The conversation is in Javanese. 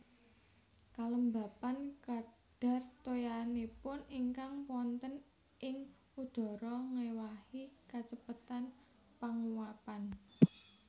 Kalembapan kadhar toyanipun ingkang wonten ing udhara ngéwahi kacepetan panguwapan